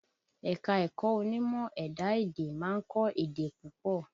Ẹ̀ka-ẹ̀kọ onímọ̀ ẹ̀dá-èdè ma ń kọ́ èdè púpọ.